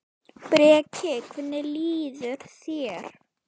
Breki: Hvernig líður þér?